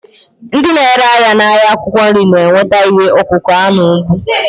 Ndị na-ere ahịa n'ahịa akwụkwọ nri na-enweta ihe ọkụkụ ha n'ugbo.